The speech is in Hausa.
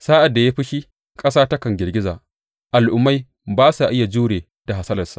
Sa’ad da ya yi fushi, ƙasa takan girgiza; al’ummai ba sa iya jure da hasalarsa.